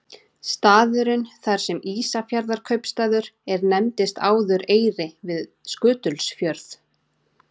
Staðurinn þar sem Ísafjarðarkaupstaður er nefndist áður Eyri við Skutulsfjörð.